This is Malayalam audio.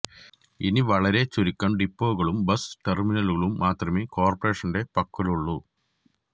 ഇനി വളരെ ചുരുക്കം ഡിപ്പോകളും ബസ് ടെർമിനലുകളും മാത്രമേ കോർപ്പറേഷന്റെ പക്കലുള്ളൂ